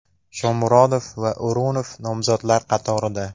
Shomurodov va O‘runov nomzodlar qatorida.